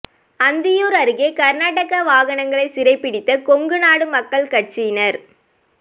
அந்தியூர் அருகே கர்நாடக வாகனங்களை சிறைபிடித்த கொங்கு நாடு மக்கள் கட்சியினர்